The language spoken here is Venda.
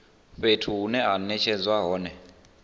fhethu hune ha netshedzwa hone